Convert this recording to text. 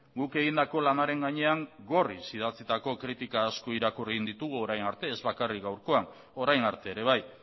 guk egindako lanaren gainean gorriz idatzitako kritika asko irakurri egin ditugu orain arte ez bakarrik gaurkoak orain arte ere bai